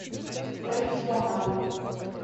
профессионалы